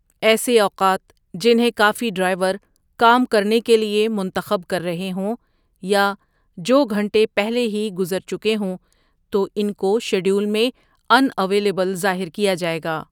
ایسے اوقات جنہیں کافی ڈرائیور کام کرنے کے لیے منتخب کر رہے ہوں یا جو گھنٹے پہلے ہی گزر چکے ہوں تو ان کو شیڈول میں 'ان اویلبل' ظاہر کیا جائے گا۔